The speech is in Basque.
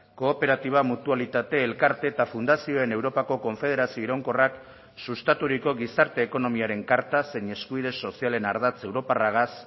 kooperatiba mutualitate elkarte eta fundazioen europako konfederazio iraunkorrak sustaturiko gizarte ekonomiaren karta zein eskubide sozialen ardatz europarragaz